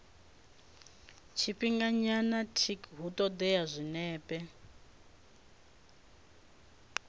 tshifhinganyana tic hu ṱoḓea zwinepe